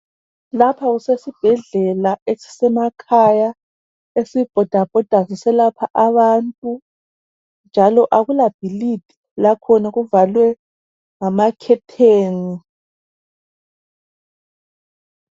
Lapha kusesibhedlela esisemakhaya esibhoda bhoda siselapha abantu njalo akula bhilidi lakhona kuvalwe ngama "curtain".